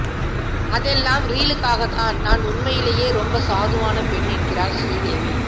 அதெல்லாம் ரீலுக்காகத்தான் நான் உண்மையிலேயே ரொம்ப சாதுவான பெண் என்கிறார் ஸ்ரீதேவி